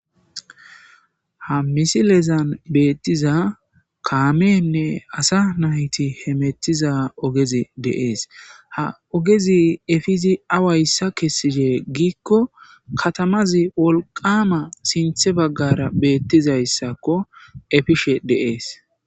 Ha misilezan beettiza kaamenne asa nayti he mettiza ogezi deees ha ogezi efizi awayssa kessidee giikko katamazi wolqama sinthe baggara beettizayssakko efishe deees.